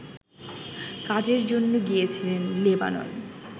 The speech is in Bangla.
কাজের জন্য গিয়েছিলেন লেবানন